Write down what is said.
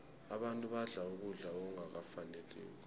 abantu badla ukudla okungafaniko